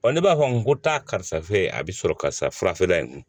ne b'a fɔ n ko taa karisa in a bi sɔrɔ karisa fara in kun